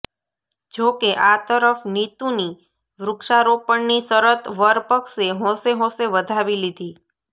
જો કે આ તરફ નીતુની વૃક્ષારોપણની શરત વરપક્ષે હોંશે હોંશે વધાવી લીધી